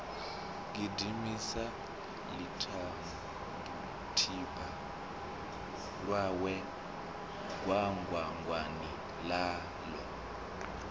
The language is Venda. gidimisa ḽitibutibu ḽawe gwangwangwani ḽaḽo